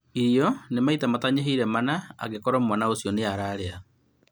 Iria nĩ maita matanyihĩire mana angĩkorũo mwana ũcio nĩ ararĩa